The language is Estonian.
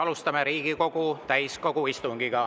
Alustame Riigikogu täiskogu istungit.